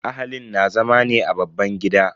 Ahalin na zama ne a babban gida.